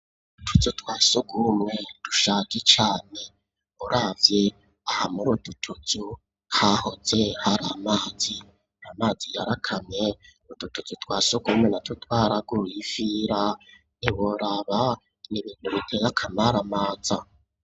Utuzu twasugumwe dushaje cane, uravye aha mur'ututuzu hahoze hari amazi, amazi yarakamye ututuzu twasugumwe na two twaraguyifira ntiworaba n'ibintu bitey'akamaramaza.